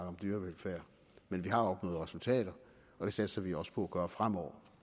om dyrevelfærd men vi har opnået resultater og det satser vi også på at gøre fremover